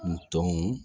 N tɔ